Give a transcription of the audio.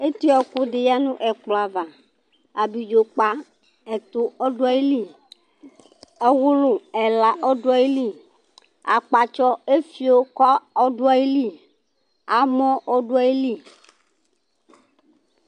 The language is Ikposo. Etiɔƙʋ ɖɩ ƴǝ nʋ ɛƙplɔ avaAbiɖzo ƙpa ɛtʋ ɔɖʋ aƴili, ɔwʋlʋ ɛla ɔɖʋ aƴili ,aƙpatsɔ fio nʋ amɔ bɩ ɖʋ aƴili